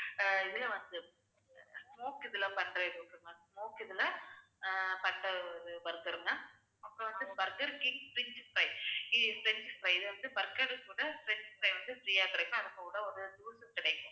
ஆஹ் இதுல வந்து smoke இதுல பண்ற இது ஒரு ma'am smoke இதுல அஹ் பண்ற ஒரு இது burger ma'am அப்புறம் வந்து burger king french fry ஹம் french fry இது வந்து burger கூட french fry வந்து free ஆ கிடைக்கும். அதுகூட ஒரு juice கிடைக்கும்